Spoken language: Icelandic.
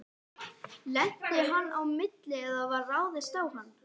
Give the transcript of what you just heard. Lenti á hann á milli eða var ráðist á hann?